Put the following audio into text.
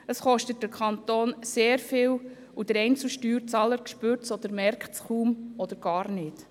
Das kostet den Kanton sehr viel, und der einzelne Steuerzahler merkt es kaum oder gar nicht.